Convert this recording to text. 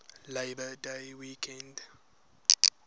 labor day weekend